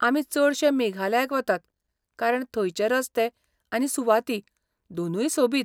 आमी चडशे मेघालयाक वतात कारण थंयचे रस्ते आनी सुवाती दोनूय सोबीत.